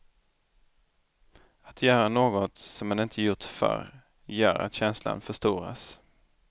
Att göra något som man inte gjort förr gör att känslan förstoras.